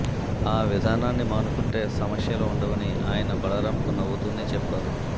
ఆ విధానాన్ని మానుకొంటే సమస్యలు ఉండవని ఆయన బలరాంకు నవ్వుతూనే చెప్పారు